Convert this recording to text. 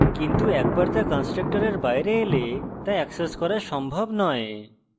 কিন্তু একবার তা কন্সট্রকটরের বাইরে এলে তা এক্সেস করা সম্ভব নয়